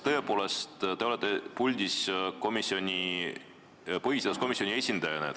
Te olete aga puldis põhiseaduskomisjoni esindajana.